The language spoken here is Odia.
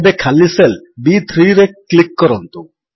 ଏବେ ଖାଲି ସେଲ୍ B3ରେ କ୍ଲିକ୍ କରନ୍ତୁ